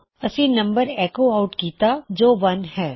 ਅਸੀਂ ਹੁਣੇ ਨੰਬਰ ਐੱਕੋ ਆਉਟ ਕਿੱਤਾ ਜੋ 1 ਹੈ